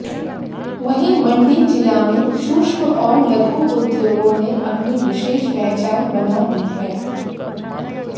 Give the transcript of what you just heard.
वहीं मंडी जिला में सूक्ष्म और लघु उद्योगों ने अपनी विशेष पहचान बना ली है